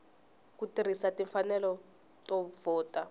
ku tirhisa timfanelo to vhota